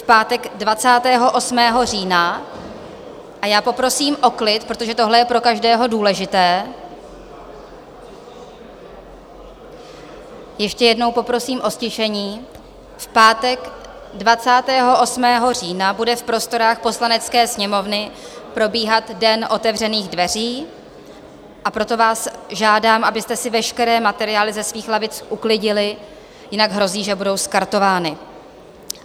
V pátek 28. října - a já poprosím o klid, protože tohle je pro každého důležité, ještě jednou poprosím o ztišení - v pátek 28. října bude v prostorách Poslanecké sněmovny probíhat Den otevřených dveří, a proto vás žádám, abyste si veškeré materiály ze svých lavic uklidili, jinak hrozí, že budou skartovány.